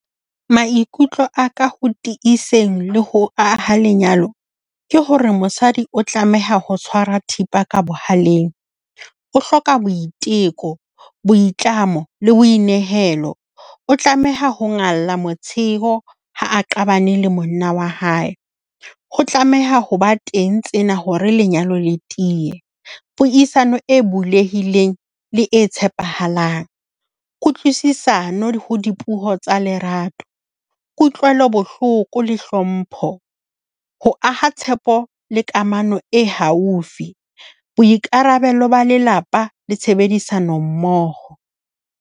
Maikutlo a ka ho tiiseng le ho aha lenyalo ke hore mosadi o tlameha ho tshwara thipa ka bohaleng. O hloka boiteko, boitlamo le boinehelo. O tlameha ho ngalla motsheo ha a qabane le monna wa hae. Ho tlameha ho ba teng tsena hore lenyalo le tiye. Puisano e bulehileng le e tshepahalang. Kutlwisisano ho dipuo tsa lerato. Kutlwelo bohloko le hlompho. Ho aha tshepo le kamano e haufi. Boikarabelo ba lelapa le tshebedisanommoho